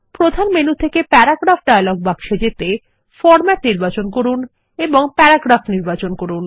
প্রধান মেনু থেকে paragraph dialogue বাক্সে যেতে ফরমেট নির্বাচন করুন এবং প্যারাগ্রাফ নির্বাচন করুন